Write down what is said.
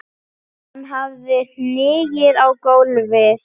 Hann hafði hnigið í gólfið.